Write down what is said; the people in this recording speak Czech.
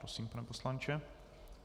Prosím, pane poslanče.